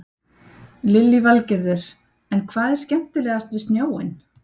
Lillý Valgerður: En hvað er skemmtilegast við snjóinn?